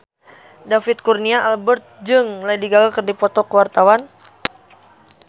David Kurnia Albert jeung Lady Gaga keur dipoto ku wartawan